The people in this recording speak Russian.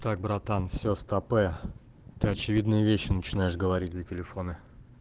так братан все стопэ ты очевидные вещи начинаешь говорить на телефоны